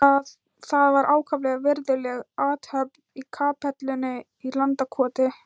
Það var ákaflega virðuleg athöfn í kapellunni í Landakoti.